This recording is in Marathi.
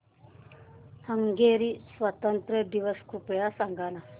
हंगेरी स्वातंत्र्य दिवस कृपया सांग ना